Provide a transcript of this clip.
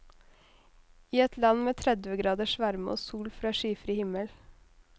I et land med tredve graders varme og sol fra skyfri himmel.